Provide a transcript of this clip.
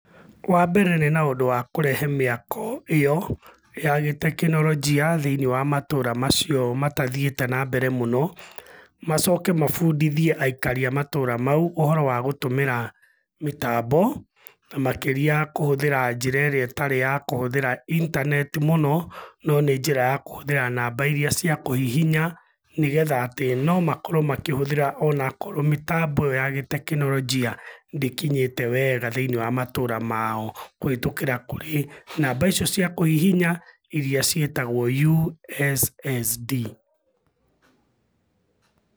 Wambere nĩ na ũndũ wa kũrehe mĩako ĩyo, ya gĩ teknolojia thĩiniĩ wa matũra macio matathiĩte na mbere mũno, macoke mabundithie aikari a matũra mau ũhoro wa gũtũmĩra mĩtambo, na makĩria kũhũthĩra njĩra ĩrĩa ĩtarĩ ya kũhũthĩra intaneti mũno, no nĩ njĩra ya kũhũthĩra namba iria cia kũhihinya, nĩgetha atĩ nomakorũo makĩhũthĩra onakorũo mĩtambo ya gĩ-gĩ teknolojia ndĩkinyĩte wega thĩiniĩ wa matũra mao, kũhĩtũkĩra kũrĩ namba icio cia kũhihinya, iria ciĩtagũo USSD.